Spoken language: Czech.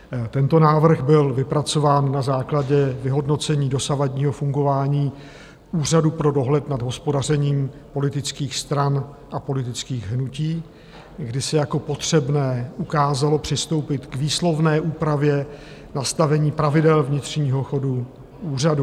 Tento návrh byl vypracován na základě vyhodnocení dosavadního fungování Úřadu pro dohled nad hospodařením politických stran a politických hnutí, kdy se jako potřebné ukázalo přistoupit k výslovné úpravě nastavení pravidel vnitřního chodu úřadu.